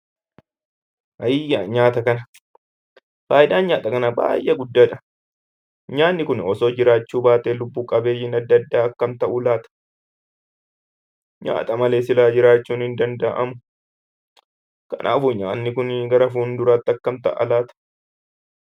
Ayii yaa nyaata kana! Faayidaan nyaata kanaa baay'ee guddaa dha. Nyaanni kun osoo jiraachuu baatee lubbu-qabeeyyiin adda addaa akkam ta'u laata? Nyaata malee silaa jiraachuun hin danda'amu. Kanaafuu, nyaanni kun gara fuulduraatti akkam ta'a laata?